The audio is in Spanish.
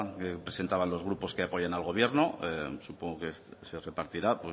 que presentaban los grupos que apoyan al gobierno supongo que se repartirá